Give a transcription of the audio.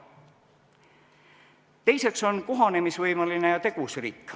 Teiseks on kohanemisvõimeline ja tegus riik.